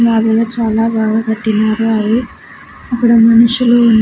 చాలా బాగా కట్టినారు అవి అక్కడ మనుషులు ఉన్నా--